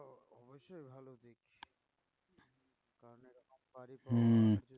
হম